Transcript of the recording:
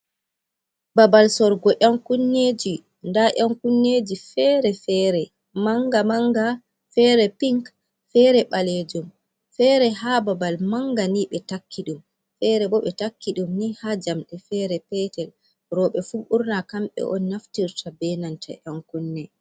Babal sorugo yan kunneji, nda yan kunneji fere-fere, manga manga, fere pink, fere balejum, fere ha babal manga ni, ɓe takki ɗum, fere bo ɓe takki ɗum ni ha jamɗe fere petel, roɓe fu ɓurna kamɓe on naftirta ɓe nanta yan kunne.